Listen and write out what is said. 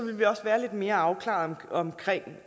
vi også være lidt mere afklaret omkring